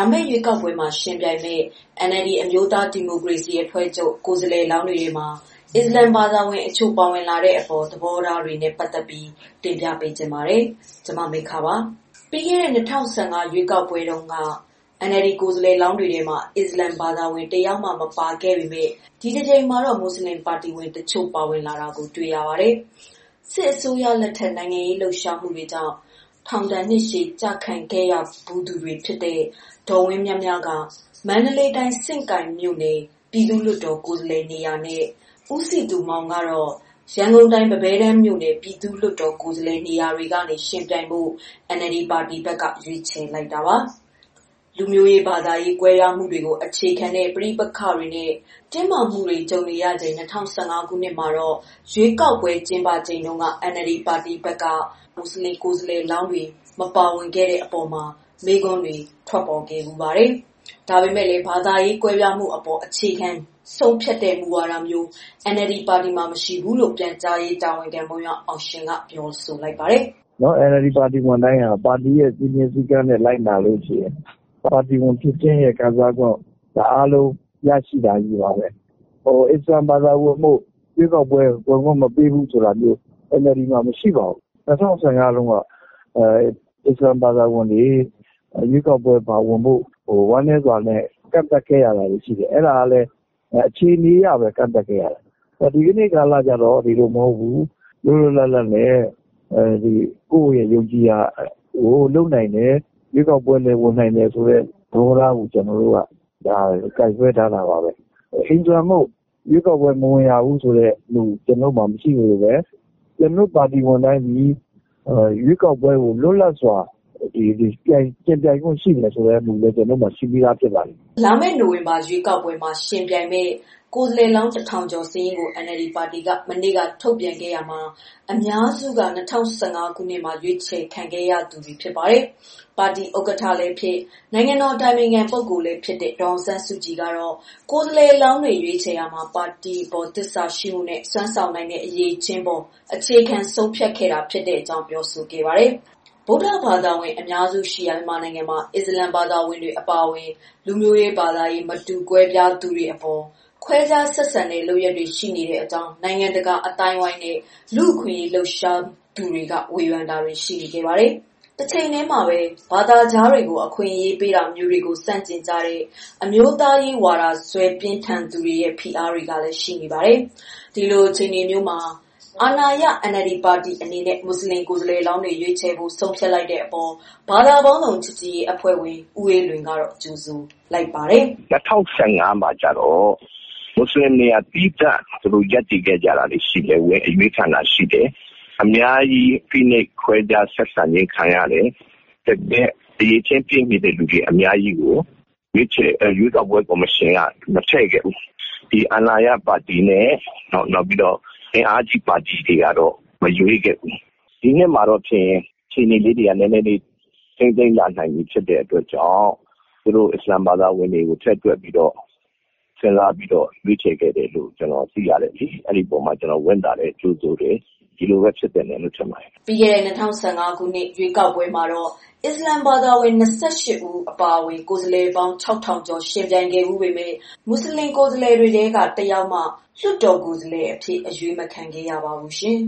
ာမယ့်ရွေးကောက်ပွဲမှာ ယှဉ်ပြိုင်မယ့် NLD အမျိုးသားဒီမိုကရေစီအဖွဲ့ချုပ် ကိုယ်စားလှယ်လောင်းတွေထဲမှာ အစ္စလာမ်ဘာသာဝင်တချို့ ပါဝင်လာတဲ့အပေါ် သဘောထားတွေကို ပြောပြပေးပါမယ်။ ဗွီအိုအေမြန်မာပိုင်းသတင်းထောက် မမေခက သတင်းပေးပို့ထားပါတယ်။ ပြီးခဲ့တဲ့ ၂၀၁၅ ခုနှစ် ရွေးကောက်ပွဲမှာတုန်းက NLD ကိုယ်စားလှယ်လောင်းတွေထဲမှာ အစ္စလာမ်ဘာသာဝင် တယောက်မှ မပါခဲ့ပေမဲ့ ဒီတကြိမ်မှာတော့ မွတ်ဆလင်ပါတီဝင်တချို့ ပါဝင်လာတာ တွေ့ရပါတယ်။ စစ်အစိုးရလက်ထက် နိုင်ငံရေးလှုပ်ရှားမှုတွေကြောင့် ထောင်ဒဏ် ကျခံခဲ့ရဖူးသူတွေ ဖြစ်ကြတဲ့ ဒေါ်ဝင်းမြမြက မန္တလေးတိုင်း စဉ့်ကိုင်မြို့နယ် ပြည်သူ့လွှတ်တော်ကိုယ်စားလှယ်နေရာနဲ့ ကိုစည်သူမောင်ကတော့ ရန်ကုန်တိုင်း ပန်းပဲတန်းမြို့နယ် ပြည်သူ့လွှတ်တော်ကိုယ်စားလှယ် နေရာတွေအတွက် ယှဉ်ပြိုင်ဖို့ NLD ပါတီက ရွေးချယ်ထားတာပါ။ လူမျိုးရေး၊ ဘာသာရေး ကွဲပြားမှုတွေကို အခြေခံတဲ့ ပဋိပက္ခတွေနဲ့ တင်းမာမှုတွေကြုံနေရချိန် ၂၀၁၅ ခုနှစ်မှာ ရွေးကောက်ပွဲ ကျင်းပခဲ့တုန်းက NLD ပါတီက မွတ်ဆလင်ကိုယ်စားလှယ်လောင်းတွေကို မပါဝင်ခဲ့တဲ့အပေါ် မေးခွန်းတွေလည်း ထွက်ပေါ်ခဲ့ဖူးပါတယ်။ ဒါပေမဲ့လည်း ဘာသာရေး ကွဲပြားမှုအပေါ် အခြေခံဆုံးဖြတ်တဲ့ မူဝါဒမျိုး NLD ပါတီမှာ မရှိဘူးလို့ ပြန်ကြားရေးတာဝန်ခံ မုံရွာအောင်ရှင်က ပြောပါတယ်။ "ပါတီဝင်တိုင်းက ပါတီစည်းမျဉ်းစည်းကမ်း လိုက်နာလို့ရှိရင် ပါတီဝင်ခံစားခွင့်ရတာကြီးပါဘဲ။ အစ္စလာမ်ဘာသာဝင်မို့ ရွေးကောက်ပွဲ ဝင်ခွင့်မပေးဘူးဆိုတာမျိုး ပါတီမှာ မရှိပါဘူး။ ၂၀၁၅ တုန်းက အစ္စလာမ်ဘာသာဝင်တွေ ပါဝင်ဖို့ကို ဝမ်းနည်းစွာနဲ့ ကန့်သတ်ခဲ့ရတာတွေရှိတယ်။ အဲဒါက အခြေအနေအရ ကန့်သတ်ခဲ့ရတာ။ ဒီကနေ့ကာလကျတော့ ဒီလိုမဟုတ်ဘူးလွတ်လွတ်လပ်လပ်နဲ့ ယုံကြည်ရာလုပ်နိုင်တယ် ရွေးကောက်ပွဲလည်း ဝင်နိုင်တယ်ဆိုတဲ့ သဘောထားကို ကိုင်ဆွဲထားတာပါပဲ။ အစ္စလာမ်မို့ မဝင်ရမူ မရှိသလို ကျနော်တို့ ပါတီဝင်တွေအနေနဲ့ လွတ်လပ်စွာရွေးကောက်ပွဲမှာ ယှဉ်ပြိုင်ခွင့်ရှိတဲ့မူလည်း ကျနော်တို့မှာရှိပါတယ်။" နိုဝင်ဘာလ ရွေးကောက်ပွဲမှာ ယှဉ်ပြိုင်မယ့် ကိုယ်စားလှယ်လောင်း ၁,၀၀၀ ကျော်စာရင်းကို NLD ပါတီက မနေ့တုန်းက ထုတ်ပြန်ခဲ့ရာမှာ အများစုက ၂၀၁၅ ခုနှစ်မှာ ရွေးချယ်ခံခဲ့ကြသူတွေ ဖြစ်ပါတယ်။ ပါတီဥက္ကဋ္ဌလည်းဖြစ် နိုင်ငံတော်အတိုင်ပင်ခံပုဂ္ဂိုလ်လည်းဖြစ်တဲ့ ဒေါ်အောင်ဆန်းစုကြည်ကတော့ ကိုယ်စားလှယ်လောင်းတွေ ရွေးချယ်ရာမှာ ပါတီအပေါ် သစ္စာရှိမှုနဲ့ စွမ်းဆောင်နိုင်တဲ့ အရည်အချင်းအပေါ် အခြေခံဆုံးဖြတ်ခဲ့တာဖြစ်ကြောင်း ပြောဆိုခဲ့တာပါ။ ဗုဒ္ဓဘာသာဝင် အများစုရှိရာ မြန်မာနိုင်ငံမှာ အစ္စလာမ်ဘာသာဝင်တွေ အပါအဝင် လူမျိုးရေး၊ ဘာသာရေး မတူကွဲပြားသူတွေအပေါ် ခွဲခြားဆက်ဆံတဲ့ လုပ်ရပ်တွေ ရှိနေကြောင်း နိုင်ငံတကာ အသိုင်းအဝန်းနဲ့ လူ့အခွင့်အရေး လှုပ်ရှားသူတွေက ဝေဖန်မှုတွေလည်း ရှိနေတာပါ။ တချိန်တည်းမှာပဲ ဘာသာခြားတွေကို အခွင့်အရေး ပေးတာမျိုးတွေကို ဆန့်ကျင်ကြတဲ့ အမျိုးသားရေး ဝါဒစွဲပြင်းထန်သူတွေရဲ့ ဖိအားတွေလည်း ရှိနေပါတယ်။ ဒီလိုအခြေအနေမျိုးမှာ အာဏာရ NLD ပါတီအနေနဲ့ မွတ်ဆလင်ကိုယ်စားလှယ်လောင်းတွေကို ရွေးချယ်ဖို့ ဆုံးဖြတ်လိုက်တဲ့အပေါ် ဘာသာပေါင်းစုံ ချစ်ကြည်ရေးအဖွဲ့ဝင် ဦးအေးလွင်က ကြိုဆိုလိုက်ပါတယ်။ "၂၀၁၅ မှာကျတော့ မွတ်စလင်တွေ သီးသန့်ဝင်ရွေးခံတယ်။ အများကြီး ဖိနှိပ်ခဲ့ကြတယ်။ တကယ့်အရည်အချင်းရှိတာတွေ အများကြီးပေမဲ့ ကော်မရှင်ဘက်က မထည့်ခဲ့ဘူး။ အာဏာရပါတီနဲ့ အင်အားကြီးပါတီတွေကလည်း မရွေးခဲ့ဘူး။ ဒီနှစ်မှာတော့ အခြေအနေတွေထိန်းနိုင်ပြီဖြစ်တဲ့ အတွက်ကြောင့် သူတို့အစ္စလာမ် ဘာသာဝင်တွေကို ထည့်တွက်ပြီးတော့ရွေးခဲ့လို့ ဝမ်းသာပါတယ်။ ဒီအပေါ်ကြိုဆိုပါတယ်။" ပြီးခဲ့တဲ့ ၂၀၁၅ ခုနှစ် ရွေးကောက်ပွဲမှာတော့ အစ္စလာမ်ဘာသာဝင် ၂၈ ဦး အပါအဝင် ကိုယ်စားလှယ်လောင်း ၆,၀၀၀ ကျော် ယှဉ်ပြိုင်ခဲ့ဖူးပေမဲ့ မွတ်ဆလင် ကိုယ်စားလှယ်တွေထဲက တယောက်မှ အရွေးမခံခဲ့ရပါဘူးရှင်